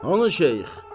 Hanı şeyx?